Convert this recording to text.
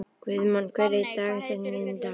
Guðmon, hver er dagsetningin í dag?